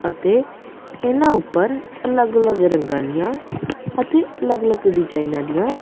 ਅਤੇ ਇਹਨਾਂ ਉੱਪਰ ਅਲੱਗ ਅਲੱਗ ਰੰਗਾਂ ਦੀਆਂ ਅਤੇ ਅਲੱਗ ਅਲੱਗ ਡਿਜਾਈਨਾਂ ਦੀਆਂ--